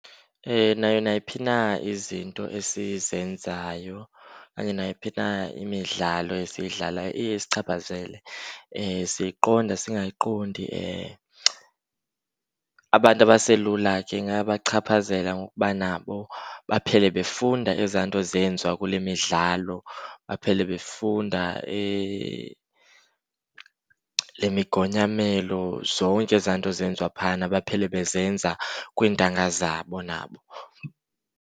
Nayo nayiphi na izinto esizenzayo okanye nayiphi na imidlalo esiyidlalayo iye isichaphazele, siyiqonda singayiqondi. Abantu abaselula ke ingabachaphazela ngokuba nabo baphele befunda ezaa nto zenziwa kule midlalo. Baphele befunda le migonyamezelo, zonke ezaa nto zenziwa phayana baphele bezenza kwinatanga zabo nabo.